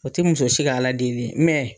O ti muso si ka Ala deli ye